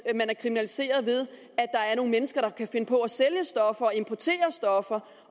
er kriminaliseret ved at nogle mennesker der kan finde på at sælge stoffer og importere stoffer